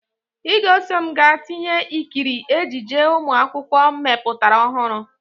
Ị ga-eso m ga tịyeta ịkịrị ejije ụmụ akwụkwó mepụtara ọhụrụ!